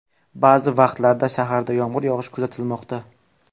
Ba’zi vaqtlarda shaharda yomg‘ir yog‘ishi kuzatilmoqda.